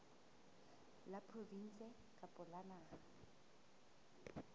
la provinse kapa la naha